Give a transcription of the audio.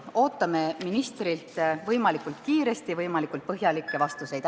Ootame ministrilt võimalikult kiiresti võimalikult põhjalikke vastuseid.